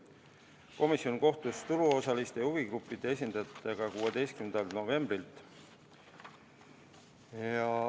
Komisjon kohtus turuosaliste ja huvigruppide esindajatega 16. novembril.